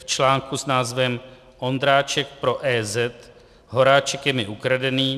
, v článku s názvem 'Ondráček pro EZ: Horáček je mi ukradený.